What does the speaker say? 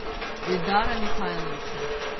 эльдара михайловича